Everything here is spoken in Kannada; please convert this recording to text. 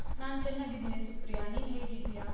ನಾನ್ ಚೆನ್ನಾಗಿದ್ದೀನಿ ಸುಪ್ರಿಯಾ, ನೀನ್ ಹೇಗ್ ಇದ್ದೀಯ?